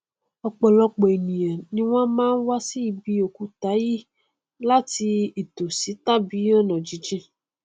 ọpọlọpọ ènìà ni wọn máa n wá sí ibi òkúta yìí láti ìtòsí tàbí ọnàjíjìn